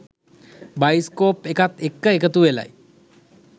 Bioscope එකත් එක්ක එකතු වෙලයි.